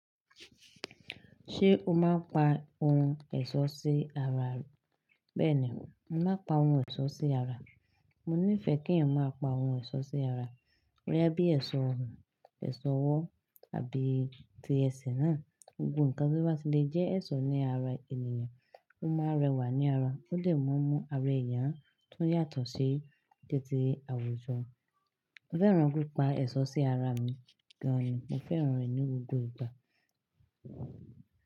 Ṣé o máa pa ohun ẹ̀ṣọ́ sí ara? Bẹ́ẹ̀ ni, mo máa pa ohun ẹ̀ṣọ́ sí ara. Mo nífẹ̀ẹ́ kí éyán máa pa ohun ẹ̀ṣọ́ sí ara. Bòyá bí ẹ̀ṣọ́ ọrùn, ẹ̀ṣọ́ ọwọ́ àbí ti ẹsẹ̀ náà, gbogbo nǹkan tí ó bá tì le jẹ́ ẹ̀ṣọ́ ní ara ènìyàn, ó máa n rẹwà ní ara. Ó lè mú àwọn èyán tó yàtọ̀ sí títí àwùjọ. Mo fẹ́ràn pípa ẹ̀ṣọ́ sí ara mi gan ni. Mo fẹ́ràn rẹ̀ ní gbogbo ìgbà.